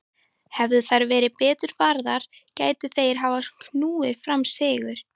Hefðu þær verið betur varðar gætu þeir hafa knúið fram sigur.